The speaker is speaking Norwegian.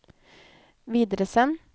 videresend